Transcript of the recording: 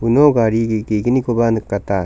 uno gari ge ge·gnikoba nikata.